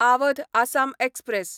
Awadh Assam express